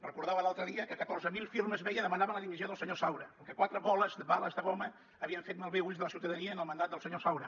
recordava l’altre dia que catorze mil firmes demanaven la dimissió del senyor saura que quatre bales de goma havien fet malbé ulls de la ciutadania en el mandat del senyor saura